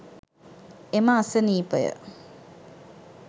එම අසනීපය